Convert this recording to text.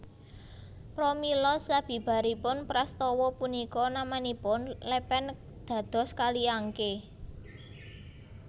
Pramila sabibaripun prastawa punika namanipun lèpèn dados Kali Angké